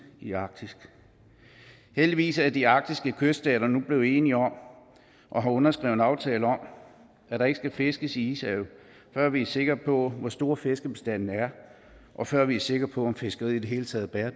i arktis heldigvis er de arktiske kyststater nu blevet enige om og har underskrevet en aftale om at der ikke skal fiskes i ishavet før vi er sikre på hvor stor fiskebestanden er og før vi er sikre på at fiskeriet i det hele taget er